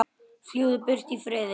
Fljúgðu burt í friði.